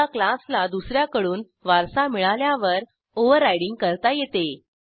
एका क्लासला दुस याकडून वारसा मिळाल्यावर ओव्हररायडिंग करता येते